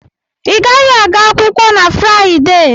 I gaghị aga akwụkwọ na Fraịdee!